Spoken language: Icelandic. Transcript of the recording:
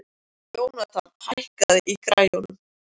Jónatan, hækkaðu í græjunum.